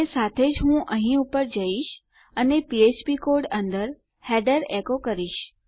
અને સાથે જ હું અહીં ઉપર જઈશ અને ફ્ફ્પ કોડ અંદર હેડર એકો કરીશ